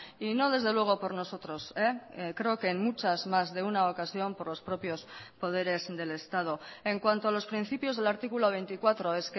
y no desde luego por nosotros creo que en muchas más de una ocasión por los propios poderes del estado en cuanto a los principios del artículo veinticuatro